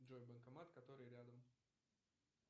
джой банкомат который рядом